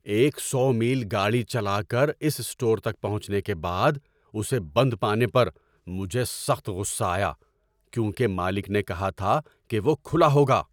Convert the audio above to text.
ایک سو میل گاڑی چلا کر اس اسٹور تک پہنچنے کے بعد اسے بند پانے پر مجھے سخت غصہ آیا کیونکہ مالک نے کہا تھا کہ وہ کھلا ہوگا۔